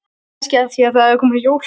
Kannski af því að það eru að koma jól.